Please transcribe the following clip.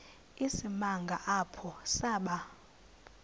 isimanga apho saba